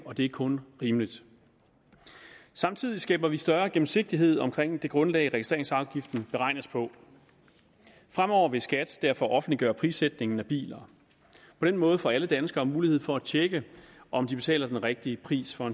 og det er kun rimeligt samtidig skaber vi større gennemsigtighed omkring det grundlag registreringsafgiften beregnes på fremover vil skat derfor offentliggøre prissætningen af biler på den måde får alle danskere mulighed for at tjekke om de betaler den rigtige pris for